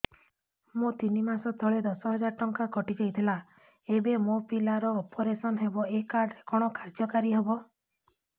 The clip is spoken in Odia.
ମୋର ତିନି ମାସ ତଳେ ଦଶ ହଜାର ଟଙ୍କା କଟି ଯାଇଥିଲା ଏବେ ମୋ ପିଲା ର ଅପେରସନ ହବ ଏ କାର୍ଡ କଣ କାର୍ଯ୍ୟ କାରି ହବ